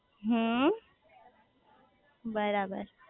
હમ્મ બરાબર